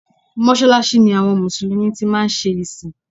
Mọ́sàlàṣí ni àwọn Mùsùlùmí tí máa ń ṣe ìsìn